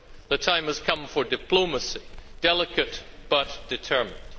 The time has come for diplomacy, delicate but determined.